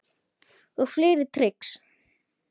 Og fleiri trix.